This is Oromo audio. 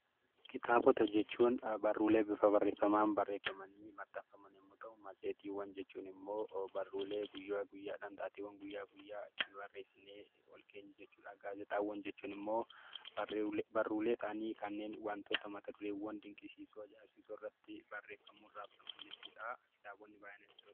Kitaabota jechuun barruulee bifa barreeffamaan barreeffamanii maxxanfaman yommuu ta'u; Matseetiiwwan jechuun immoo barruulee guyyaa guyyaa dhaan, taateewwwan guyyaa guyyaa itti barreessinee ol keenyu jechuu dha. Gaazexaawwan jechuunn immoo barruulee ta'anii kanneen wantoota mata dureewwan dinqisiisoo, ajaa'ibsiisoo irratti barreeffamuun raabsaman jechuu dha. Kitaabonni baay'ee natti tolu!